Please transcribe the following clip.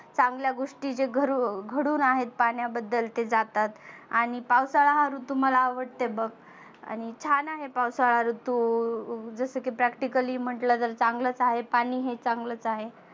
चांगल्या गोष्टी घरु घडुन आहेत पाण्याबद्दल ते जातात. आणि पावसाळा हा ऋतू मला आवडते बघ आणि छान आहे पावसाळा ऋतू जसं की practically म्हटलं जर चांगलच आहे पाणी हे चांगलच आहे.